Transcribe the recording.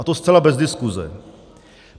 A to zcela bez diskuse.